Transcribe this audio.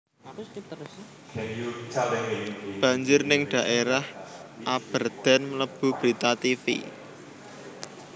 Banjir ning daerah Aberdeen mlebu berita tivi